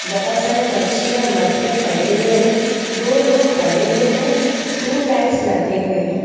बहुत सारे मच्छियां मर के पड़े हुए हैं दो लोग खड़े हुए हैं तीन लाइट्स लगे हुए हैं।